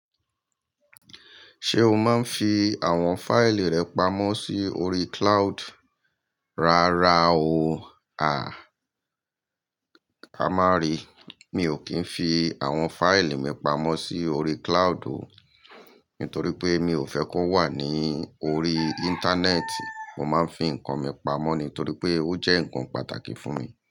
Ṣé o máa ń fi àwọn fáìlì rẹ pamọ́ sí orí cloud? Rárá o, ká má ri. Mi ò kí ń fi àwọn fáìlì mi pamọ́ sí orí cloud o, nítorí pé mi ò fẹ́ kó wà ní orí íńtánẹ́ẹ̀tì. Mo máa ń fi nǹkan mi pamọ́ nítorí pé ó jẹ́ nǹkan pàtàkì fún mi.